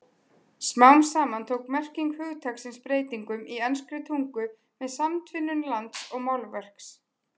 Smám saman tók merking hugtaksins breytingum í enskri tungu með samtvinnun lands og málverks.